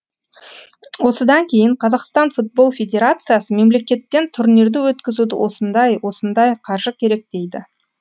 осыдан кейін қазақстан футбол федерациясы мемлекеттен турнирді өткізуді осындай осындай қаржы керек дейді